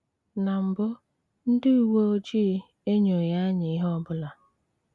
Na mbụ, ndị uwe ojii enyoghị anyị ihe ọ bụla.